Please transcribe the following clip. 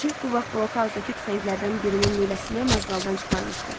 Şeyx bu vaxt blokazdəki tüfənglərdən birinin lüləsini mazğaldan çıxarmışdı.